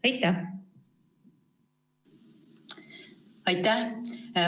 Aitäh!